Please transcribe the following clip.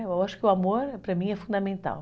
Eu acho que o amor, para mim, é fundamental.